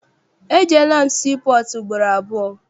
Ejeela m sii pọọtụ ugboro abụọ.